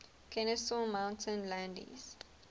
kenesaw mountain landis